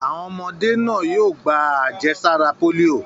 Àwọn ọmọdé náà yóò gba àjẹsára pólíò.